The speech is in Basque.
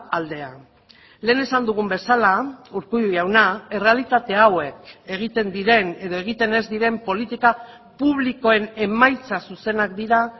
aldea lehen esan dugun bezala urkullu jauna errealitate hauek egiten diren edo egiten ez diren politika publikoen emaitza zuzenak dira